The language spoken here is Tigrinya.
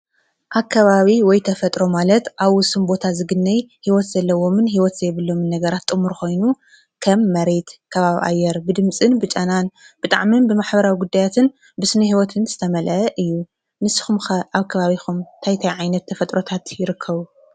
ኣከባቢ ወይተፈጥሮ ማለት ኣብ ውስን ቦታ ዝግነይ ህይወት ዘለዎምን ህይወት ዘይብሎምን ነገር ጥሙር ኾይኑ ከም መሬት ፣ካባብ ኣየር ብድምጽን ብጫናን ብጣዕምን ብማሕበራዊ ጕዳያትን ብስነ ህይወትን ዝተመልአ እዩ፡፡ ንስኹም ከ ኣብ ከባቢኹም እንታይ ታይ ዓይነት ተፈጥሮታት ይርከቡ?